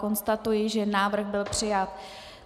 Konstatuji, že návrh byl přijat.